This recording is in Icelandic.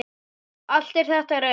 Allt er þetta rétt.